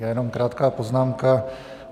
Já jenom krátkou poznámku.